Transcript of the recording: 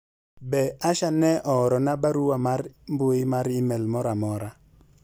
be Asha ne ooro na barua mar mbui mar email moro amora